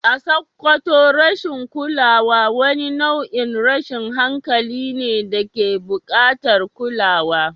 A Sakkwato rashin kulawa wani nau’in tashin hankalin ne da ke bukatar kulawa.